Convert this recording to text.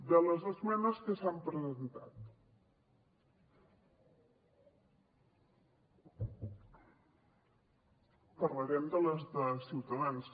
de les esmenes que s’han presentat parlarem de les de ciutadans